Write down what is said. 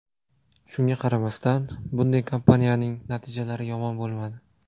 Shunga qaramasdan, bunday kampaniyaning natijalari yomon bo‘lmadi.